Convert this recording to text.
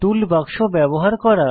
টুল বাক্স ব্যবহার করা